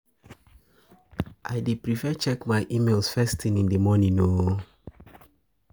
I dey prefer checking my emails first thing in the morning.